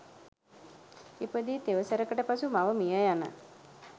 ඉපදී තෙවසරකට පසු මව මිය යන